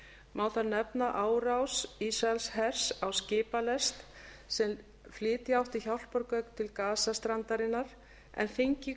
má þar nefna árás ísraelshers á skipalest sem flytja átti hjálpargögn til gasa strandarinnar en þingið